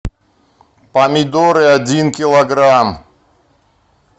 помидоры один килограмм